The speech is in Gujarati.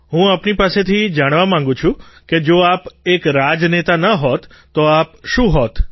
હું આપની પાસેથી જાણવા માગું છું કે જો આપ એક પોલોટિશિયન ન હોત તો આપ શું હોત